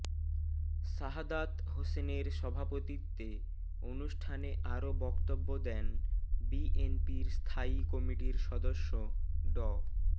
শাহাদাত হোসেনের সভাপতিত্বে অনুষ্ঠানে আরো বক্তব্য দেন বিএনপির স্থায়ী কমিটির সদস্য ড